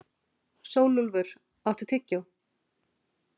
Sólúlfur, áttu tyggjó?